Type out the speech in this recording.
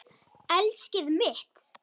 Elskið mitt!